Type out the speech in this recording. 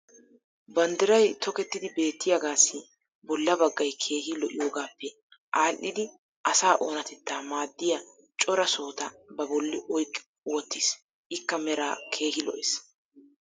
banddiray tokkettidi beettiyaagaassi bolla baggay keehi lo'iyoogaappe aadhdhidi asaa oonatettaa maadiya cora sohota ba bolli oyqqi wottiis. ikka meraa keehi lo'ees.